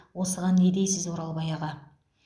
осыған не дейсіз оралбай аға